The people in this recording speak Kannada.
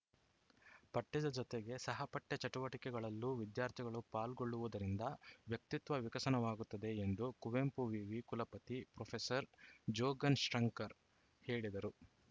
ಪಠ್ಯದ ಜೊತೆಗೆ ಸಹಪಠ್ಯ ಚಟುವಟಿಕೆಗಳಲ್ಲೂ ವಿದ್ಯಾರ್ಥಿಗಳು ಪಾಲ್ಗೊಳ್ಳುವುದರಿಂದ ವ್ಯಕ್ತಿತ್ವ ವಿಕಸನವಾಗುತ್ತದೆ ಎಂದು ಕುವೆಂಪು ವಿವಿ ಕುಲಪತಿ ಪ್ರೊಫೆಸರ್ ಜೋಗನ್‌ ಶರ್ನ್ಕರ್ ಹೇಳಿದರು